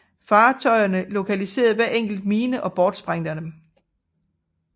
Fartøjerne lokaliserer hver enkelt mine og bortsprænger dem